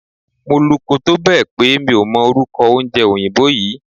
Mo luko tó bẹ̀ pé mi ò mọ orúkọ oúnjẹ òyìnbó yí.